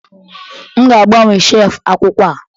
M ga-agbanwe shelfu akwụkwọ a